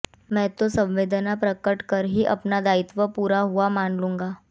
मैं तो संवेदना प्रकट कर ही अपना दायित्व पूरा हुआ मान लूंगा